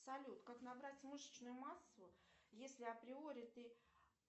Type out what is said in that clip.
салют как набрать мышечную массу если априори ты